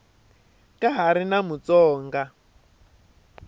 ka ha ri na mutsonga